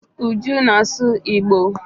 Uju na-asu igbo.